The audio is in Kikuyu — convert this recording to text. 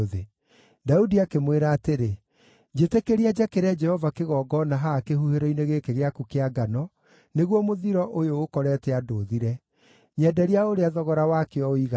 Daudi akĩmwĩra atĩrĩ, “Njĩtĩkĩria njakĩre Jehova kĩgongona haha kĩhuhĩro-inĩ gĩkĩ gĩaku kĩa ngano, nĩguo mũthiro ũyũ ũkorete andũ ũthire. Nyenderia o ũrĩa thogora wakĩo ũigana.”